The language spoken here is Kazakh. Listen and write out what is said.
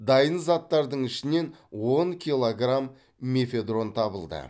дайын заттардың ішінен он килограмм мефедрон табылды